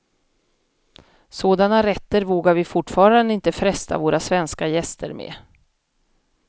Sådana rätter vågar vi fortfarande inte fresta våra svenska gäster med.